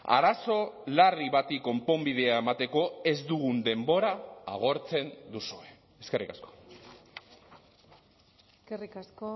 arazo larri bati konponbidea emateko ez dugun denbora agortzen duzue eskerrik asko eskerrik asko